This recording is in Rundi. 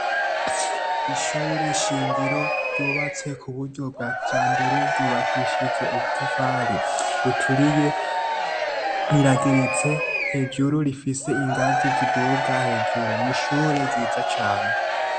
Ishure shingiro ryubatse ku buryo bwa kijambere ryubakishije ubutafari buturiye irageretse hejuru rifise ingazi ziduga hejuru ni ishure ryiza cane.